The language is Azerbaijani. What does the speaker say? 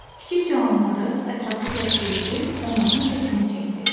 Kiçik canlıları ətraflı təsvir edib, onların şəklini çəkdi.